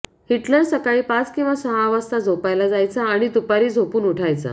Hitler सकाळी पाच किंवा सहा वाजता झोपायला जायचा आणि दुपारी झोपून उठायचा